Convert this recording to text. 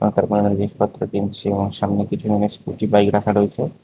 জিনিসপত্র কিনছে এবং সামনে কিছু জনের স্কুটি বাইক রাখা রয়েছে।